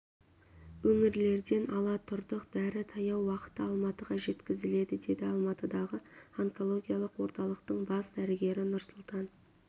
өңірлерден ала тұрдық дәрі таяу уақытта алматыға жеткізіледі деді алматыдағы онкологиялық орталықтың бас дәрігері нұрсұлтан